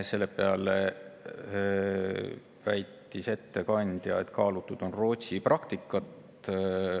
Selle peale väitis ettekandja, et kaalutud Rootsi praktikat.